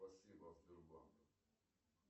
спасибо от сбербанка